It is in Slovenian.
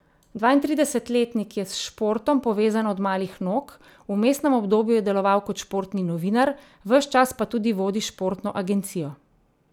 Dvaintridesetletnik je s športom povezan od malih nog, v vmesnem obdobju je deloval kot športni novinar, ves čas pa tudi vodi športno agencijo.